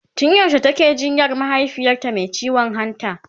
tun yaushe take jinyan mahaifiyarta Mai ciwon hanta?